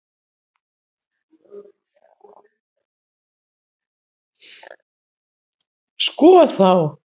Sko þá!